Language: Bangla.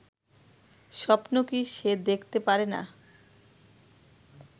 স্বপ্ন কি সে দেখতে পারেনা